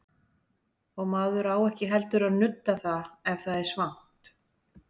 Og maður á ekki heldur að nudda það ef það er svangt.